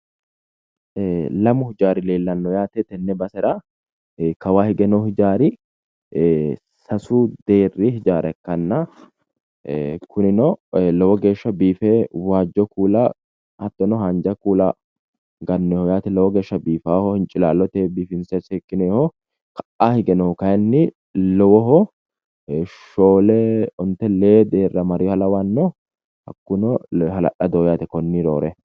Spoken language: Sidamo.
Ee lamu hijaari leellanno yaate tenne basera kawaa hige noo hijaari ee sasu deerri hijaara ikkanna ee kunino lowo geesha biife waajjo kuula hattono haanja kuula gannoyiho yaate lowo geesha biifawoho hincilaalloteyi biifinse seekkinoyiho ka'a hige noohu kayinni lowoho shoole onte lee deerra marewoha lawanno hakkuno hala'ladoho yaate konni roore